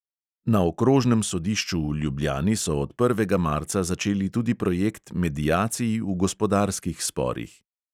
Na okrožnem sodišču v ljubljani so od prvega marca začeli tudi projekt mediacij v gospodarskih sporih.